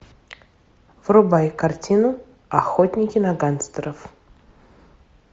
врубай картину охотники на гангстеров